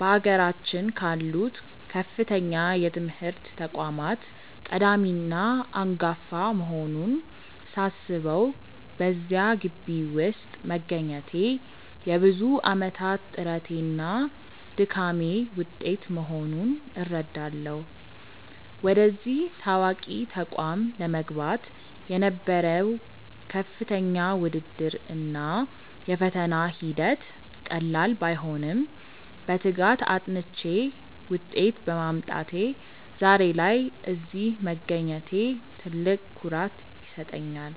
በአገራችን ካሉት ከፍተኛ የትምህርት ተቋማት ቀዳሚና አንጋፋ መሆኑን ሳስበው፣ በዚያ ግቢ ውስጥ መገኘቴ የብዙ ዓመታት ጥረቴና ድካሜ ውጤት መሆኑን እረዳለሁ። ወደዚህ ታዋቂ ተቋም ለመግባት የነበረው ከፍተኛ ውድድር እና የፈተና ሂደት ቀላል ባይሆንም፣ በትጋት አጥንቼ ውጤት በማምጣቴ ዛሬ ላይ እዚህ መገኘቴ ትልቅ ኩራት ይሰጠኛል።